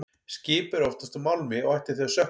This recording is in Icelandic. Skip eru oftast úr málmi og ættu því að sökkva.